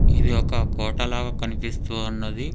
ఇది ఒక కోట లాగ కనిపిస్తూ ఉన్నది.